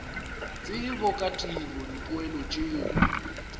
tsebo ka tiro dipoelo tšeo